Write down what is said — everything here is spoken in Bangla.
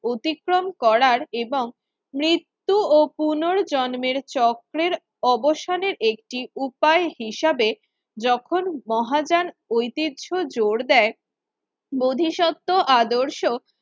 অতিক্রম করার এবং মৃত্যু ও পুনর্জন্মের চক্রের অবসানের একটি উপায় হিসেবে যখন মহাযান ঐতিহ্য জোর দেয় বোধিসত্ত্ব আদর্শ